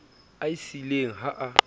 a e siileng ha a